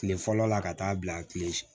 Kile fɔlɔ la ka taa bila tile